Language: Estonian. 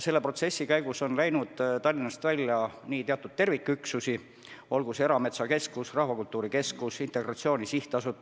Selle protsessi käigus on Tallinnast välja kolinud teatud terviküksusi, näiteks Erametsakeskus, Rahvakultuuri Keskus, Integratsiooni Sihtasutus.